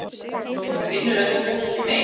Hún vinnur ekki fólki mein.